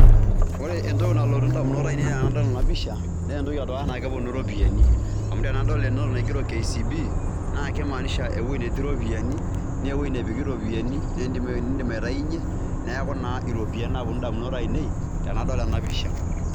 Ore entoki nalotu ndamunot ainei tenadol ena pisha naa entoki edukuya neponu iropiani amu tenadol ene wuei naigero KCB naa kimaanisha ewui netii iropiani, nee euwei epiki ropiani, nindim aitayunye, neeku naa iropiani naaponu indamunot ainei tenadol ena pisha.